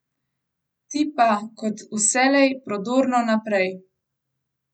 Ti pa, kot vselej, prodorno naprej!